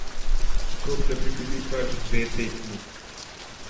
Kot da bi bili pač dve tekmi.